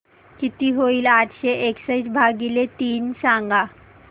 किती होईल आठशे एकसष्ट भागीले तीन सांगा